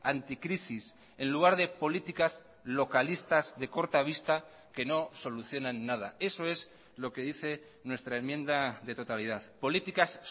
anticrisis en lugar de políticas localistas de corta vista que no solucionan nada eso es lo que dice nuestra enmienda de totalidad políticas